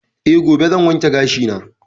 Eh, gobe zan wanke gashi na.